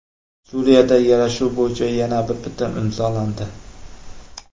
Suriyada yarashuv bo‘yicha yana bir bitim imzolandi.